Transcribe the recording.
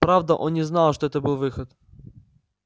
правда он не знал что это был выход